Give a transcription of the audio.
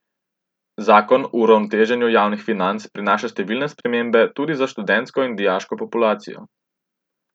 Zakon o uravnoteženju javnih financ prinaša številne spremembe tudi za študentsko in dijaško populacijo.